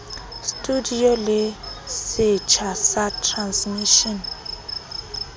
studio le setsha sa transmishene